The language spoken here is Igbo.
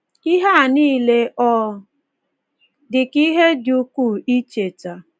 Ihe a nile ọ dị ka ihe dị ukwuu icheta?